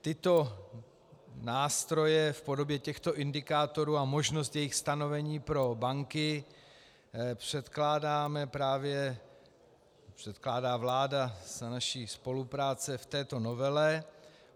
Tyto nástroje v podobě těchto indikátorů a možnost jejich stanovení pro banky předkládá vláda za naší spolupráce v této novele.